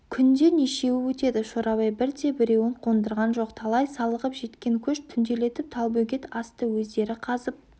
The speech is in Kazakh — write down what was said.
күнде нешеуі өтеді шорабай бірде-біреуін қондырған жоқ талай салығып жеткен көш түнделетіп талбөгет асты өздері қазып